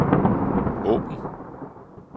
åbn